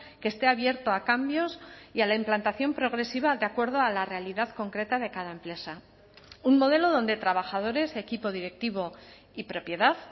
que esté abierto a cambios y a la implantación progresiva de acuerdo a la realidad concreta de cada empresa un modelo donde trabajadores equipo directivo y propiedad